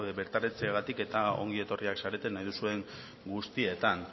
bertaratzeagatik eta ongi etorriak zarete nahi duzuen guztietan